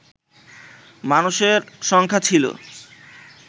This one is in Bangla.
মানুষের সংখ্যা ছিল